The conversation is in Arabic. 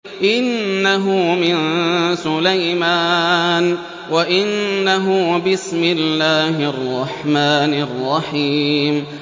إِنَّهُ مِن سُلَيْمَانَ وَإِنَّهُ بِسْمِ اللَّهِ الرَّحْمَٰنِ الرَّحِيمِ